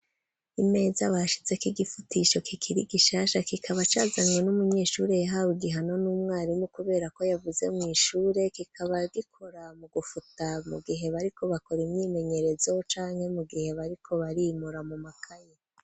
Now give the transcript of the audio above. Imeza bashizeko igifutisho kikiri gishasha, kikaba cazanywe n'umunyeshure yahawe igihano n'umwarimu, kubera ko yavuze mw'ishure, kikaba gikora mu gufuta mu gihe bariko bakora imyimenyerezo, canke mu gihe bariko barimura mu makaye.